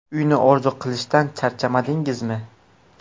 Uyni orzu qilishdan charchamadingizmi?